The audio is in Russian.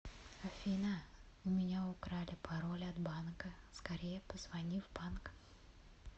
афина у меня украли пароль от банка скорее позвони в банк